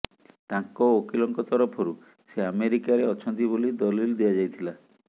ତାଙ୍କ ଓକିଲଙ୍କ ତରଫରୁ ସେ ଆମେରିକାରେ ଅଛନ୍ତି ବୋଲି ଦଲିଲ୍ ଦିଆଯାଇଥିଲା